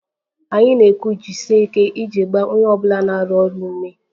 Anyị na-ekwu 'jisie ike' iji gbaa onye ọ bụla na-arụ ọrụ ume